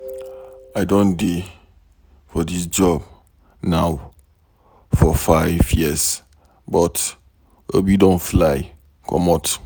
I don dey for dis job now for 5 years but Obi don fly comot